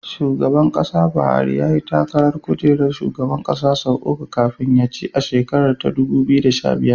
Shugaba Buhari yayi takarar kujerar shugaban ƙasa sau uku kafin ya ci a shekarar dubu biyu da sha biyar.